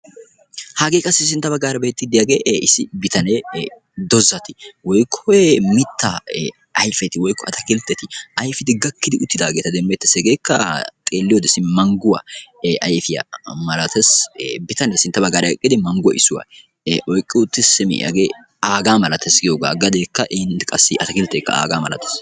Hagee qassi sintta baggaara beettiiddi diyagee issi bitanee doozzati woykko mitta ayfeti woykko ataakilitteti ayfidi gakkidi uttidaageeta demmeettees. Hegeekka xeelliyode simi mangguwa ayfiya malatees, bitanee sintta baggaara eqqidi manggo issuwa oyqqi uttiis simi hagee aagaa malatees giyogaa gadeekka qassi atakiltteekka aagaa malatees.